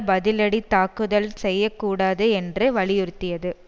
பதிலடித் தாக்குதல் செய்ய கூடாது என்று வலியுறுத்தியது